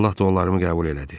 Allah dualarımı qəbul elədi.